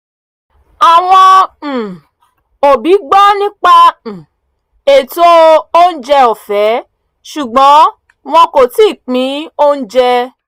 àwọn um òbí gbọ́ nípa um ètò oúnjẹ ọ̀fẹ́ ṣùgbọ́n wọ́n kò tií pin oúnjẹ